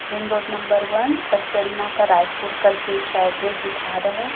Ring road number one पचपेड़ीना का रायपुर करके इसका एड्रेस दिखा रहा है।